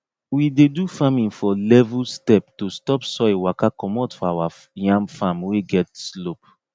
we dey do farming for level step to stop soil waka comot for our yam farm wey get slope